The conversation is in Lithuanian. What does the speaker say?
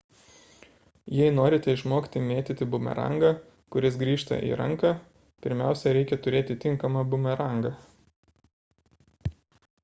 jei norite išmokti mėtyti bumerangą kuris grįžta į ranką pirmiausia reikia turėti tinkamą bumerangą